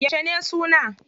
Yauce ne suna?